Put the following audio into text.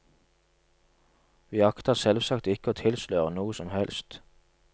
Vi akter selvsagt ikke å tilsløre noe som helst.